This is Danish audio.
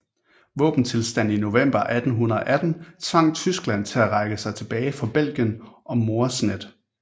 Våbentilstanden i november 1918 tvang Tyskland til at trække sig tilbage fra Belgien og Moresnet